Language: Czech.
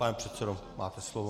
Pane předsedo, máte slovo.